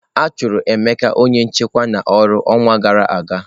A chụrụ Emeka onye nchekwa n'ọrụ ọnwa gara aga.